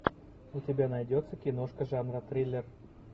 у тебя найдется киношка жанра триллер